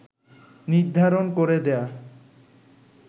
নির্ধারণ করে দেয়া